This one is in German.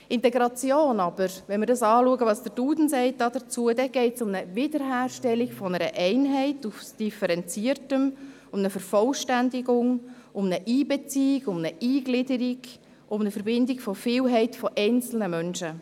Wenn wir aber schauen, was der «Duden» zu «Integration» sagt, geht es dabei um eine Wiederherstellung einer Einheit aus Differenziertem, um eine Vervollständigung, um eine Einbeziehung, um eine Eingliederung, um eine Verbindung einer Vielheit von einzelnen Menschen.